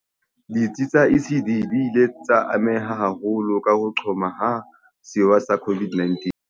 Ditsi tsa ECD di ile tsa ameha haholo ke ho qhoma ha sewa sa COVID-19.